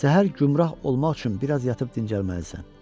Səhər gümrah olmaq üçün biraz yatıb dincəlməlisən.